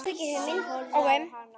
Hann horfði á hana.